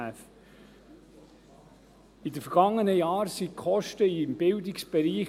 In den vergangenen Jahren explodierten die Kosten im Bildungsbereich.